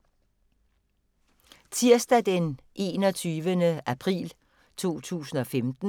Tirsdag d. 21. april 2015